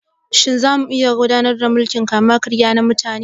Shin za mu iya ƙauracewa gudanar da mulkin kama-karya na mutane?